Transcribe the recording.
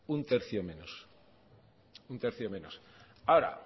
un tercio menos ahora